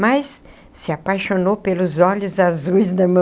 Mas se apaixonou pelos olhos azuis da